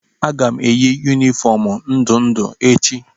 Aga m eyi yunifọọm ndụ ndụ echi.